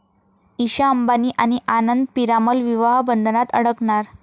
ईशा अंबानी आणि आनंद पिरामल विवाह बंधनात अडकणार!